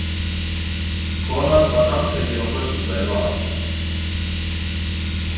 Konan var handtekin á föstudaginn var